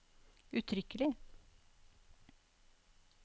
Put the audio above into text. uttrykkelig